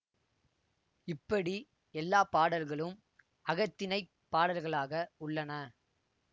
இப்படி எல்லா பாடல்களும் அகத்திணைப் பாடல்களாக உள்ளன